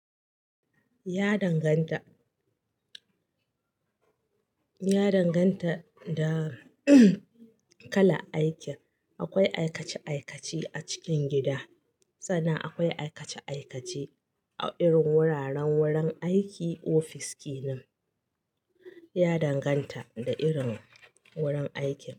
Ya danganta, ya danganta da kalan aikin. Akwai aikace-aikace a cikin gida, sannan akwai aikace-aikace irin wuraren wurin aiki ofis kenan. Ya danganta da irin wurin aikin.